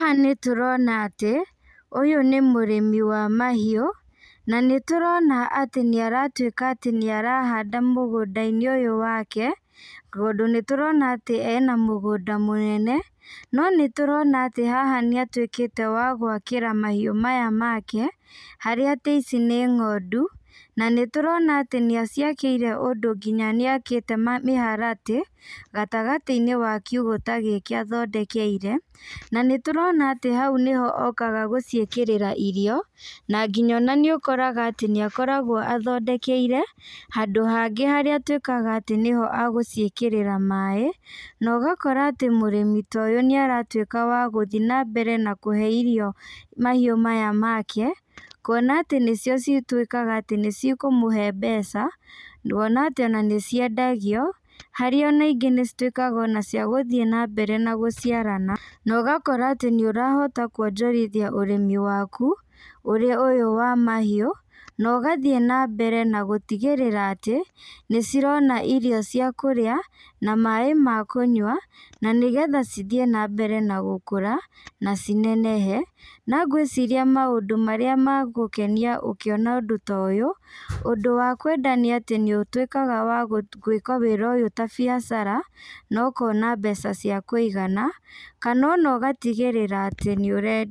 Haha nĩtũrona atĩ, ũyũ nĩ mũrĩmi wa mahiũ, na nĩtũrona atĩ nĩaratuĩka atĩ nĩarahanda mũgũndainĩ ũyũ wake, tondũ nĩtũrona ena mũgũnda mũnene, no nĩtũrona atĩ haha nĩatuĩkĩte wa gwakĩra mahiũ maya make, harĩa atĩ ici nĩ ng'ondũ, na nĩtũrona atĩ nĩaciakĩire ũndũ nginya nĩakĩte mĩharatĩ, gatagatĩinĩ ga kiugũ ta gĩkĩ athondekeire, na nĩtũrona atĩ hau nĩho okaga gũciĩkĩrĩra irio, na nginya ona nĩũkoraga atĩ nĩakoragwo athondekeire, handũ hangĩ harĩa atuĩkaga atĩ nĩho agũciĩkĩrĩra maĩ, na ũgakora atĩ mũrĩmi ta ũyũ nĩaratuĩka wa gũthi nambere na kũhe irio mahiũ maya make, kuona atĩ nĩcio cituĩkaga atĩ nĩcikũmũhe mbeca, ngona atĩ ona nĩciendagio, harĩa ona ingĩ nĩcituĩkaga ona cia gũthiĩ nambere na gũciarana, na ũgakora atĩ nĩũrahota kuonjorithia ũrĩmi waku, ũrĩa ũyũ wa mahiũ, na ũgathiĩ nambere na gũtigĩrĩra atĩ, nĩcirona irio cia kũrĩa, na maĩ ma kũnyua, na nĩgetha cithiĩ nambere na gũkũra, na cinenehe, na ngwĩciria maũndũ marĩa magũkenia ũkĩona ũndũ ta ũyũ, ũndũ wa kwenda nĩatĩ nĩũtuĩkaga wa gwĩka wĩra ũyũ ta biacara, na ũkona mbeca cia kũigana, kana ona ũgatigĩrĩra atĩ nĩũre.